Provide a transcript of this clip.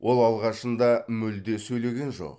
ол алғашында мүлде сөйлеген жоқ